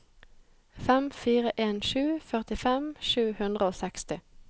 fem fire en sju førtifem sju hundre og seksti